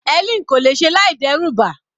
Helen kò lè ṣe láì dẹ́rù ba